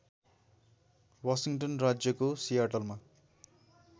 Washington राज्यको सियाटलमा